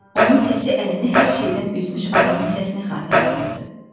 Onun səsi əlini hər şeydən üzmüş adamın səsini xatırladırdı.